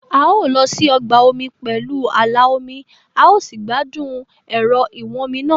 a ó lọ sí ọgbà omi pẹ̀lú ààlà omi a ó sì gbádùn ẹ̀rọ ìwọ́nmi náà